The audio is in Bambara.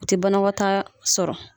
U tɛ banakɔtaa sɔrɔ.